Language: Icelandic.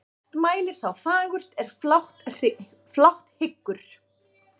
Oft mælir sá fagurt er flátt hyggur.